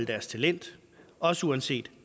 deres talent også uanset